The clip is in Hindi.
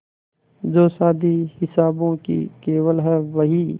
जो शादी हिसाबों की केवल है बही